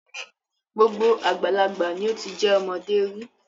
Gbogbo àgbàlagbà ni ó ti jẹ́ ọmọdé rí.